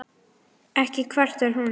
Ekki kvartar hún